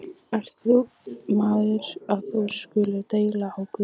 Hver ert þú, maður, að þú skulir deila á Guð?